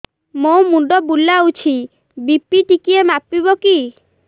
ମୋ ମୁଣ୍ଡ ବୁଲାଉଛି ବି.ପି ଟିକିଏ ମାପିବ କି